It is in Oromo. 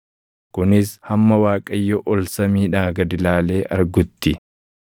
kunis hamma Waaqayyo ol samiidhaa gad ilaalee argutti.